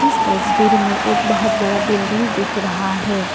इस तस्वीर में एक बहुत बड़ा बिल्डिंग दिख रहा है।